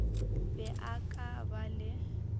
be a ka ba le